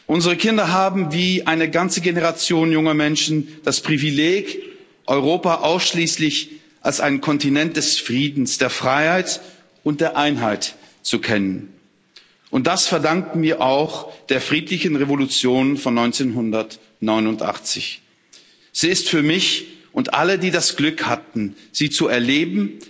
Unsere Kinder haben wie eine ganze Generation junger Menschen das Privileg, Europa ausschließlich als einen Kontinent des Friedens, der Freiheit und der Einheit zu kennen, und das verdanken wir auch der friedlichen Revolution von 1989. Sie ist für mich und alle, die das Glück hatten, sie zu erleben,